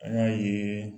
An y'a ye